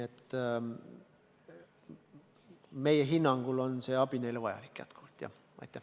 Meie hinnangul on see abi neile endiselt vajalik.